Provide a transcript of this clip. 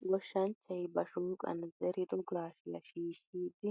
dGoshshanchchay ba shoqqan zeerido gashiyaa shiishidi